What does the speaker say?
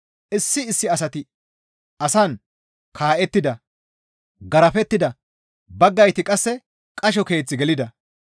Issi issi asati asan kaa7ettida; garafettida; baggayti qasse qasho keeth gelida.